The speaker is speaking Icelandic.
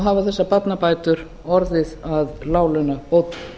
hafa þessar barnabætur orðið að láglaunabótum